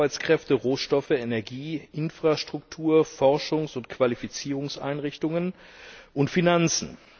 Sie braucht Arbeitskräfte, Rohstoffe, Energie, Infrastruktur, Forschungs und Qualifizierungseinrichtungen und Finanzen.